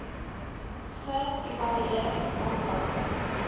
ge evalueer aantal